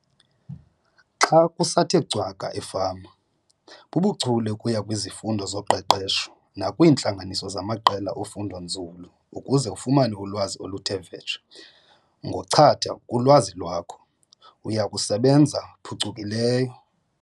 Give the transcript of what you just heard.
Xa kusathe cwaka efama, bubuchule ukuya kwizifundo zoqeqesho nakwiintlanganiso zamaqela ofundonzulu ukuze ufumane ulwazi oluthe vetshe - ngochatha kulwazi lwakho, uya sebenza phucukileyo!